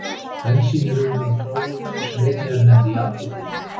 Bensín er unnið úr hráolíu sem einnig er nefnd jarðolía.